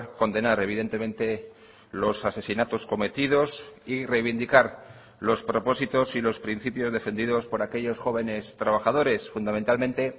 condenar evidentemente los asesinatos cometidos y reivindicar los propósitos y los principios defendidos por aquellos jóvenes trabajadores fundamentalmente